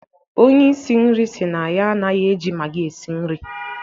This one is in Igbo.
Onye isi nri sị na ya anaghị eji magi esi nri